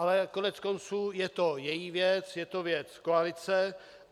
Ale koneckonců je to její věc, je to věc koalice.